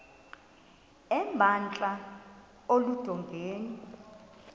emba entla eludongeni